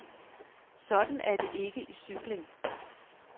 Sådan er det ikke i cykling.